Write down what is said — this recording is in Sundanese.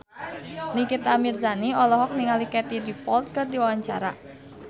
Nikita Mirzani olohok ningali Katie Dippold keur diwawancara